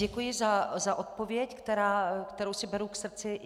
Děkuji za odpověď, kterou si beru k srdci.